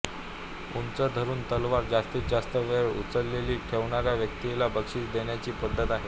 उंच धरून तलवार जास्तीत जास्त वेळ उचललेली ठेवणाऱ्याा व्यक्तीला बक्षिस देण्याची पद्धत आहे